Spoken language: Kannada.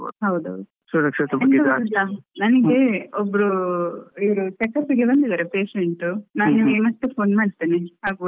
ಹೌದೌದು ಗೊತ್ತುಂಟಾ, ನನ್ಗೆ ಒಬ್ರು ಇವ್ರು checkup ಗೆ ಬಂದಿದ್ದಾರೆ patient . ನಾನ್ ಮತ್ತೆ phone ಮಾಡ್ತೇನೆ ಆಗಬೋದಲ್ಲ?